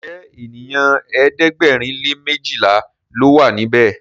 Njé ènìyàn ẹ̀ẹ́dẹ̀gbẹ̀rin lè mejila ló wà níbè?